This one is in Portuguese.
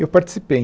Eu participei.